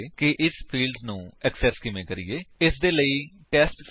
non static fields instance variables ਜਾਂ instance fields ਦੇ ਰੂਪ ਵਿੱਚ ਵੀ ਜਾਣੇ ਜਾਂਦੇ ਹਨ